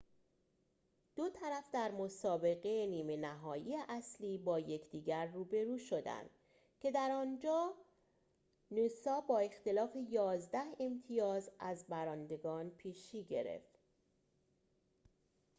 دو طرف در مسابقه نیمه نهایی اصلی با یکدیگر روبرو شدند که در آنجا نوسا با اختلاف ۱۱ امتیاز از برندگان پیشی گرفت